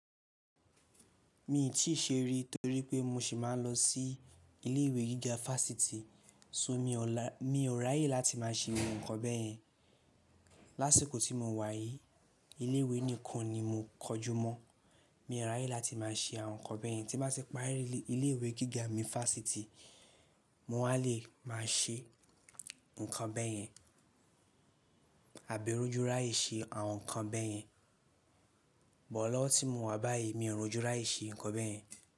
Mi ò tí ì ṣe rí torí pé mo sì máa ń lọ sí ilé ìwé gíga fásitì, só mi ò ráyè láti má a ṣe ohun kan bẹ́yẹn. Láṣiko tí mo wà yìí, ilé ìwé nìkan ni mo kọjú mọ̀. Mi ò ráyè láti má a ṣe àwọn nǹkan bẹ́yẹn. Tí bá ti parí ilé ìwé gíga mi fásitì, mo wà lè máa ṣe nǹkan bẹ́yẹn àbí rọ́júráyè ṣe àwọn nǹkan bẹ́yẹn. Bọ̀ lọ́ tí mo wà báyìí, mi ò rọ́júráyè ṣe nǹkan bẹ́yẹn.